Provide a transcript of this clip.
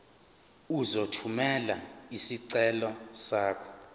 uzothumela isicelo sakho